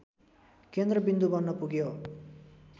केन्द्रविन्दु बन्नपुग्यो